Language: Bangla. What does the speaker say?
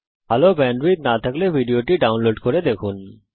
ভাল ব্যান্ডউইডথ না থাকলে আপনি ভিডিওটি ডাউনলোড করে দেখতে পারেন